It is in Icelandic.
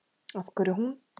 Af hverju hún?